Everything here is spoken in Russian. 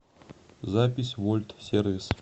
запись вольт сервис